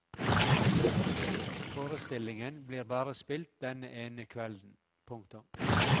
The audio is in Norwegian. Forestillingen blir bare spilt denne ene kvelden. punktum